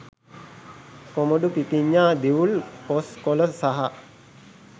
කොමඩු පිපිඤ්ඤා දිවුල් කොස් කොළ සහ